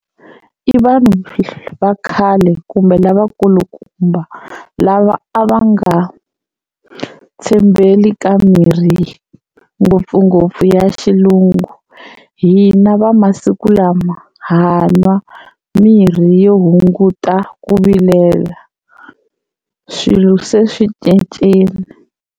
I vanhu va khale kumbe lavakulukumba lava a va nga tshembeli ka mirhi ngopfungopfu ya xilungu hina va masiku lama ha nwa mirhi yo hunguta ku vilela swilo se swi cincile.